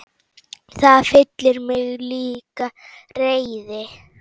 Það fyllir mig líka reiði.